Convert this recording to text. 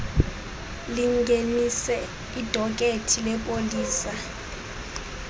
lingenise idokethi lepolisa